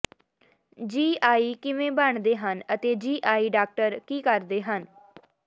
ਜੀ ਆਈ ਕਿਵੇਂ ਬਣਦੇ ਹਨ ਅਤੇ ਜੀ ਆਈ ਡਾਕਟਰ ਕੀ ਕਰਦੇ ਹਨ